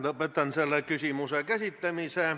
Lõpetan selle küsimuse käsitlemise.